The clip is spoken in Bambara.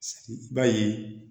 I b'a ye